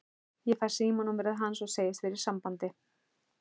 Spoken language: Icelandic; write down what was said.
Ég fæ símanúmerið hans og segist verða í sambandi.